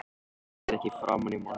Hún sér ekki framan í manninn.